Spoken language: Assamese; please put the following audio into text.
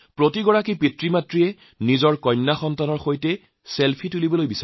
প্ৰতিগৰাকী মাকদেউতাকৰ মনত থাকে যে নিজৰ কন্যাৰ সৈতে ছেলফি তোলো